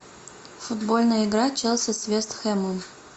футбольная игра челси с вест хэмом